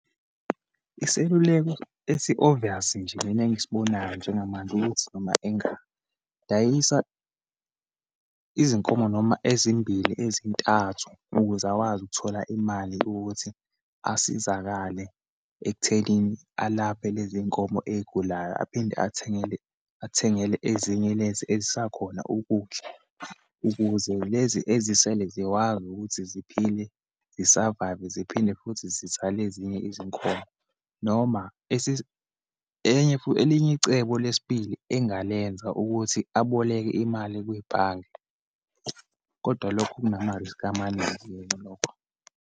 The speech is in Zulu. Iseluleko esi-obvious nje mina engisibonayo njengamanje, ukuthi noma engadayisa izinkomo noma ezimbili, ezintathu ukuze akwazi ukuthola imali ukuthi asizakale ekuthenini alaphe lezinkomo eyigulayo, aphinde athengele, athengele ezinye lezi ezisakhona ukudla, ukuze lezi ezisele zikwazi ukuthi ziphile zi-survive-ve, ziphinde futhi zizale ezinye izinkomo. Noma enye elinye icebo lesibili engalenza, ukuthi aboleke imali kwibhange, kodwa lokho kunama-risk amaningi lokho.